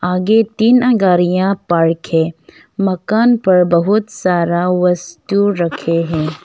आगे तीन गारिया पार्क है मकान पर बहुत सारा वस्टु रखे हैं।